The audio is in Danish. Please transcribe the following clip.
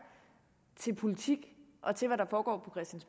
til politik og til hvad der foregår